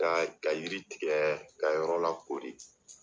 Ka ka yiri tigɛ ka yɔrɔ lakori.